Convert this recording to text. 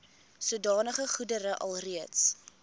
sodanige goedere alreeds